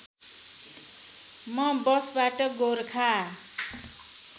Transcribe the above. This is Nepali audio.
म बसबाट गोरखा